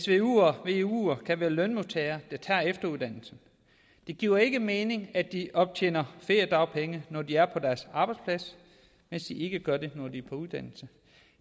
veuere kan være lønmodtagere der tager efteruddannelse det giver ikke mening at de optjener feriedagpenge når de er på deres arbejdsplads mens de ikke gør det når de er på uddannelse